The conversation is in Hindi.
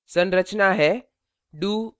संरचना है